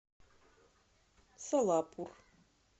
солапур